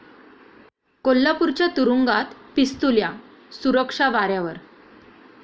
कोल्हापूरच्या तुरूंगात 'पिस्तुल्या', सुरक्षा वाऱ्यावर?